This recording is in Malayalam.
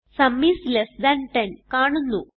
സും ഐഎസ് ലെസ് താൻ 10 കാണുന്നു